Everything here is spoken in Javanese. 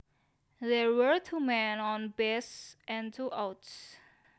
There were two men on base and two outs